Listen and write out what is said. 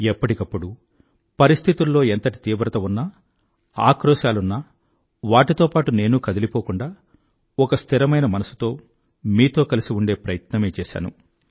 ఎప్పటికప్పుడు పరిస్థితుల్లో ఎంతటి తీవ్రత ఉన్నా ఆక్రోశాలున్నా వాటితో పాటూ నేనూ కదిలిపోకుండా ఒక స్థిరమైన మనసుతో మీతో కలిసి ఉండే ప్రయత్నమే చేశాను